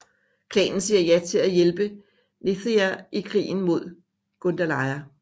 Klanen siger ja til at hjælpe Neathia i krigen mod Gundalia